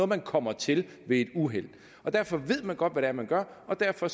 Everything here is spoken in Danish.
man kommer til ved et uheld derfor ved man godt hvad det er man gør og derfor